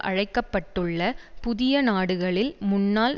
அழைக்கப்பட்டுள்ள புதிய நாடுகளில் முன்னாள்